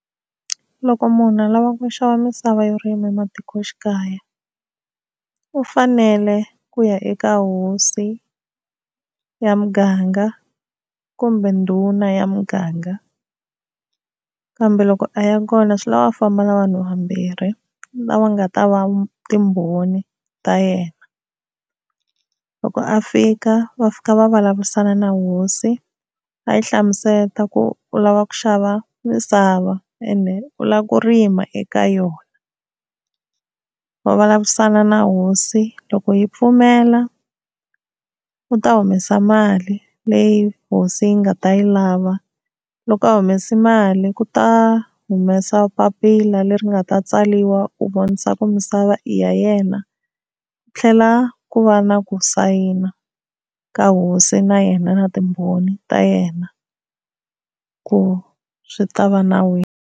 Loko munhu a lava ku xava misava yo rima ematikoxikaya u fanele ku ya eka hosi ya muganga kumbe ndhuna ya muganga, kambe loko a ya kona swi lava a famba na vanhu vambirhi lava nga ta va timbhoni ta yena loko a fika va fika va vulavurisana na hosi a yi hlamusela ku u lava ku xava misava ende u lava ku rima eka yona. Va vulavurisana na hosi loko yi pfumela u ta humesa mali leyi hosi yi nga ta yi lava loko a humese mali ku ta humesa papila leri nga ta tsariwa ku vonisa ku misava i ya yena ku tlhela ku va na ku sayina ka hosi na yena na timbhoni ta yena ku swi ta va nawini.